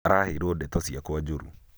araheirwo ndeto ciakwa njũru